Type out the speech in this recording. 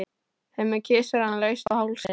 Hemmi kyssir hana laust á hálsinn.